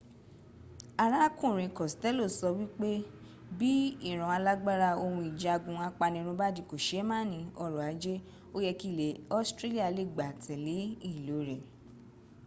arákùnrin costello sọ wípé bí ìran alágbára ohun ìjagun apanirun bá di kòseémàní ọrọ̀ ajé ó yẹ kí ilẹ̀ australia lè gbá tẹ̀le ìlò rẹ̀